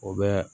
O bɛ